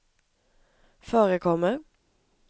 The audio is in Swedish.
förekommer